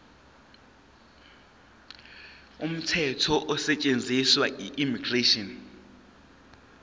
umthetho osetshenziswayo immigration